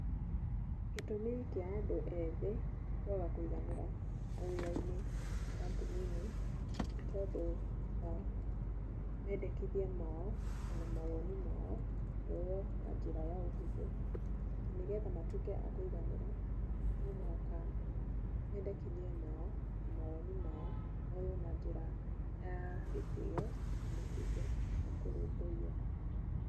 Gĩtũmi kĩa andũ ethĩ kwaga kũiganĩra mawĩra-inĩ, makambuni-inĩ, nĩ tondũ wa mendekithia mao ona mawoni mao kwwoywo na njĩra ya ũhũthũ. Na nĩgetha matuĩke a kũiganĩra, nomũhaka mendekithia mao na mawoni mao moywo na njĩra ya gĩtĩyo na matuĩke ma kũrũmbũiyo.